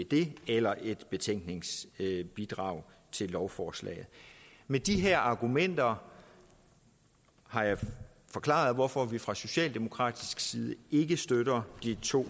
det bliver eller et betænkningsbidrag til lovforslaget med de her argumenter har jeg forklaret hvorfor vi fra socialdemokratisk side ikke støtter de to